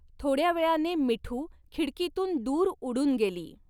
थोडया वेळाने मिठू खिडकीतून दूर उडून गेली.